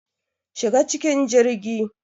Shiga cikin jirgi